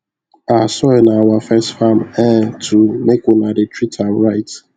our soil na our first farm um too make una dey treat am right